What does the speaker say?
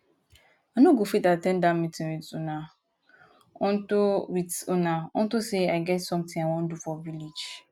i no go fit at ten d dat meeting with una unto with una unto say i get something i wan do for village